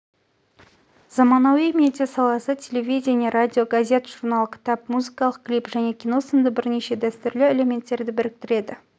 заманауи медиа саласы телевидение радио газет журнал кітап музыкалық клип және кино сынды бірнеше дәстүрлі элементтерді біріктіреді